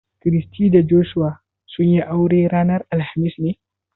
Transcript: Christy da Joshua sun yi aure ranar alhamis ne?